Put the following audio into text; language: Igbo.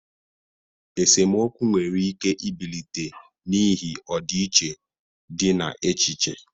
Esemokwu nwere ike ibilite n'ihi ọdịiche dị na echiche.